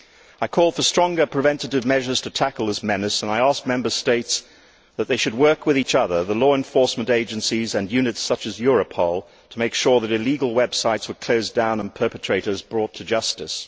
I called for stronger preventive measures to tackle this menace and I asked Member States to work with each other and the law enforcement agencies and units such as Europol to make sure that illegal websites were closed down and perpetrators brought to justice.